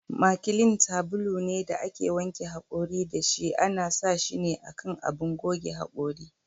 Makilin sabulu ne da ake wanke hakori da shi ,ana sa shine a kan abun goge hakorin.